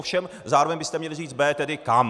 Ovšem zároveň byste měli říct B, tedy kam.